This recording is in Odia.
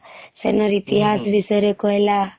ସେଇନ ର ଇତିହାସ ବିଷୟରେ କହିଲା ହୁଁ ହୁଁ